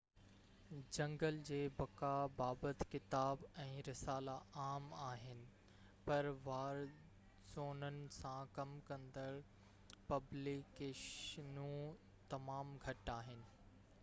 جنگل جي بقا بابت ڪتاب ۽ رسالا عام آهن ، پر وار زونن سان ڪم ڪندڙ پبليڪيشنون تمام گهٽ آهن